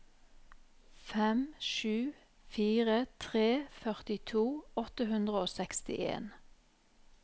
fem sju fire tre førtito åtte hundre og sekstien